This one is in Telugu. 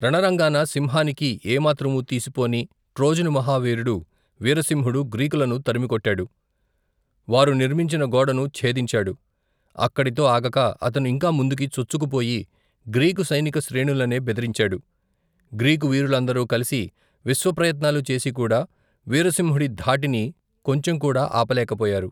రణరంగాన సింహానికి ఏమాత్రమూ తీసిపోని, ట్రోజను మహావీరుడు వీరసింహుడు గ్రీకులను తరిమికొట్టాడు వారు నిర్మించిన గోడను ఛేదించాడు అక్కడితో ఆగక అతను ఇంకా ముందుకు చొచ్చుకు పోయి గ్రీకు సైనిక శ్రేణులనే భెదిరించాడు, గ్రీకు వీరులందరూ కలిసి విశ్వప్రయత్నాలు చేసికూడా వీరసింహుడి ధాటిని కొంచంకూడా ఆపలేకపోయారు.